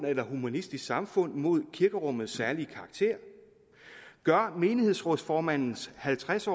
eller humanistisk samfund imod kirkerummets særlige karakter gør menighedsrådsformandens halvtreds